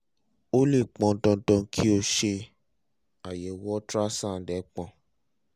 ó lè pọn dandan pé kó o ṣe àyẹ̀wò ultrasound ẹpọ̀n